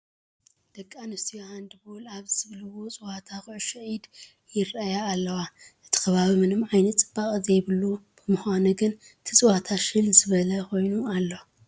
ደቂ ኣንስትዮ ሃንድ ቦል ኣብ ዝብልዎ ፀወታ ኩዕሾ ኢድ ይርአያ ኣለዋ፡፡ እቲ ከባቢ ምንም ዓይነት ፅባቐ ዘይብሉ ብምዃኑ ግን እቲ ፀወታ ሽል ዝበለ ኮይኑ ኣሎ፡፡